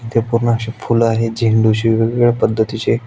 इथे पूर्ण अशे फूल आहेत झेंडू ची वेगवेगळ्या पद्धतीची.